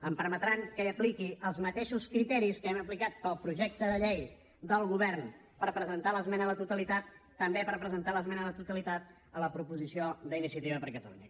em permetran que apliqui els mateixos criteris que hem aplicat per al projecte de llei del govern per presentar l’esmena a la totalitat també per presentar l’esmena a la totalitat a la proposició d’iniciativa per catalunya